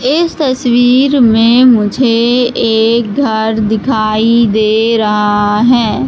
इस तस्वीर में मुझे एक घर दिखाई दे रहा हैं।